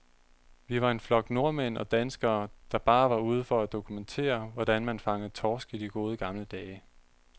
Vi var en flok nordmænd og danskere, der bare var ude for at dokumentere, hvordan man fangede torsk i de gode, gamle dage.